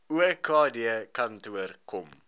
okd kantoor kom